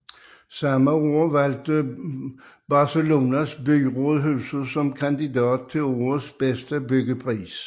Samme år valgte Barcelonas byråd huset som kandidat til årets bedste byggepris